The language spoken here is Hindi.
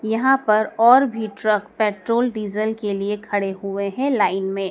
यहां पर और भी ट्रक पेट्रोल डीजल के लिए खड़े हुए हैं लाइन में।